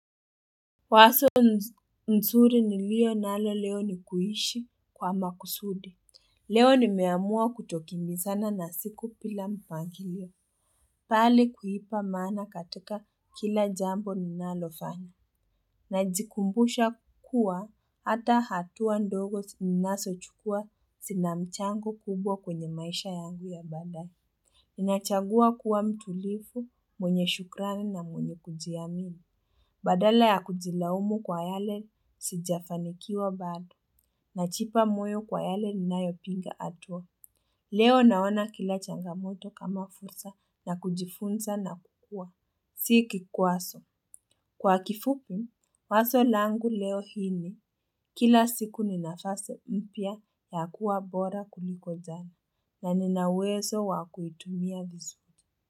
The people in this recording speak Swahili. Wazo nzuri niliyo nalo leo ni kuishi kwa makusudi. Leo nimeamua kutokimbizana na siku bila mpangilio. Bali kuipa maana katika kila jambo ninalofanya. Najikumbusha kuwa hata hatua ndogo zi ninazochukua zinamchango kubwa kwenye maisha yangu ya baadaye. Ninachagua kuwa mtulivu, mwenye shukrani na mwenye kujiamini. Badala ya kujilaumu kwa yale, sijafanikiwa bado. Najipa moyo kwa yale ninayopiga hatua. Leo naona kila changamoto kama fursa ya kujifunza na kukua. Si kikwazo. Kwa kifupi, wazo langu leo hii ni. Kila siku ni nafasi mpya ya kuwa bora kuliko jana na nina uwezo wa kuitumia vizuri.